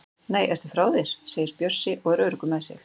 Nei, ertu frá þér! segir Bjössi og er öruggur með sig.